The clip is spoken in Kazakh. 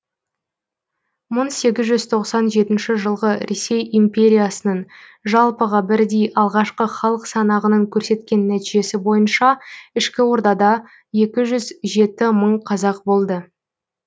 мың сегіз жүз тоқсан жетінші жылғы ресей империясының жалпыға бірдей алғашқы халық санағының көрсеткен нәтижесі бойынша ішкі ордада екі жүз жеті мың қазақ болды